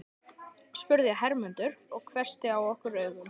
spurði Hermundur og hvessti á okkur augun.